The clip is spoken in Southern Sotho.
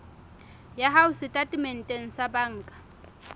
ya hao setatementeng sa banka